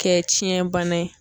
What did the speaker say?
Kɛ tiɲɛn bana ye.